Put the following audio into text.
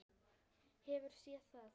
Hefurðu séð það?